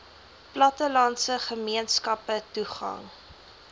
plattelandse gemeenskappe toegang